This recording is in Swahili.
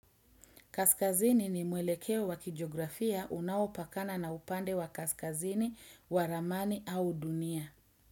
Kaskazini ni mwelekeo wa kijografia unaopakana na upande wa kaskazini, wa ramani au dunia.